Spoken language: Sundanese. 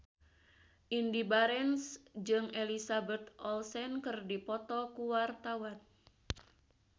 Indy Barens jeung Elizabeth Olsen keur dipoto ku wartawan